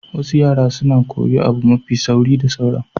Wasu yara suna koyi abu mafi sauri da sauran.